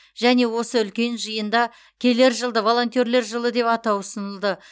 және осы үлкен жиында келер жылды волонтерлер жылы деп атау ұсынылды